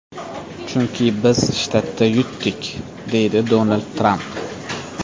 Chunki biz shtatda yutdik”, deydi Donald Tramp.